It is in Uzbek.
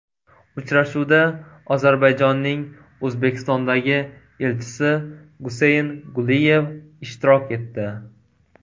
Uchrashuvda Ozarbayjonning O‘zbekistondagi elchisi Guseyn Guliyev ishtirok etdi.